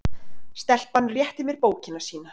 Stelpan rétti mér bókina sína.